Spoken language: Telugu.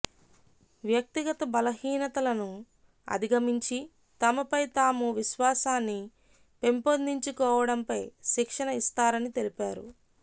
వ్యక్తిగత బలహీనతలను అధిగమించి తమపై తాము విశ్వాసాన్ని పెంపొందించుకోవడంపై శిక్షణ ఇస్తారని తెలిపారు